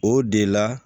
O de la